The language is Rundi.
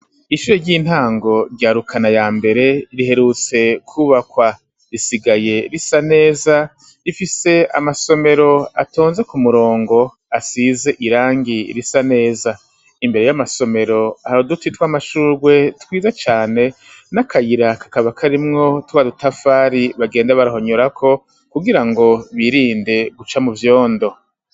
Ishure ry'intango rya rukana yambere ,riherutse kwubakwa risigaye risa neza ,rifise amasomero atonze kumurongo asize irangi Risa neza, imbere yamasomero hari uduti twamashurwe twiza cane nakayira kakaba karimwo twadutafari bagenda barahonyorako kugirango birinde guca muvyondo.